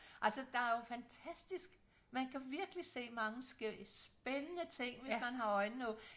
Altså der er jo fantastisk man kan virkelig se mange spændende ting hvis man har øjnene åbne